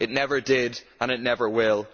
It never did and it never will'.